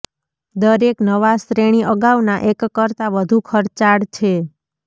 દરેક નવા શ્રેણી અગાઉના એક કરતાં વધુ ખર્ચાળ છે